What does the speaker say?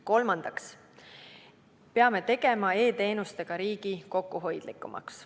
Kolmandaks, peame tegema e-teenustega riigi kokkuhoidlikumaks.